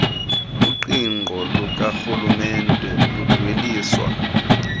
uqingqo lukarhulumente ludweliswa